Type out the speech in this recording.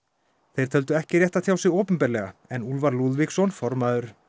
þeir töldu ekki rétt að tjá sig opinberlega en Úlfar Lúðvíksson formaður